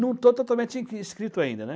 Não estou totalmente inscrito ainda, né.